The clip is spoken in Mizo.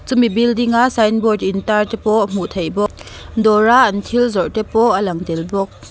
chumi building a signboard intar te pawh hmuh theih bawk dawra an thil zawrh te pawh a lang tel bawk.